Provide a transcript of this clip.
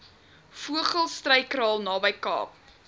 vogelstruyskraal naby kaap